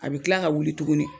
A bɛ tila ka wuli tuguni